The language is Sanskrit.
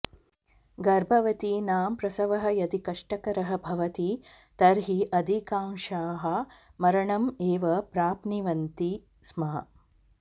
गर्भवतीनां प्रसवः यदि कष्टकरः भवति तर्हि अधिकांशाः मरणम् एव प्राप्निवन्ति स्म